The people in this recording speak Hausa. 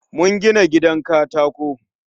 Mun gina gidan katako